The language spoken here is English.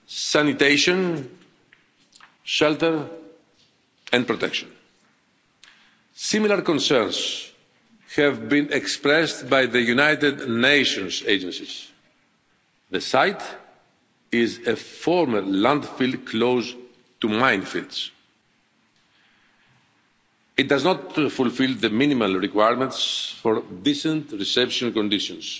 sanitation, shelter and protection. Similar concerns have been expressed by the United Nations agencies. The site is a former landfill close to minefields. It does not fulfil the minimal requirements for decent reception conditions,